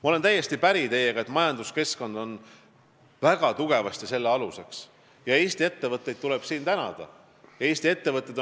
Ma olen teiega täiesti päri, et selle aluseks on väga paljuski majanduskeskkond ja siin tuleb tänada Eesti ettevõtteid.